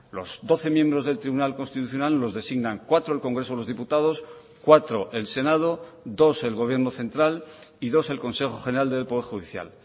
los doce miembros del tribunal constitucional los designan cuatro el congreso de los diputados cuatro el senado dos el gobierno central y dos el consejo general del poder judicial